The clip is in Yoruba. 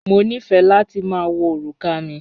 Mo nífẹ́ láti ma wọ orúkà mi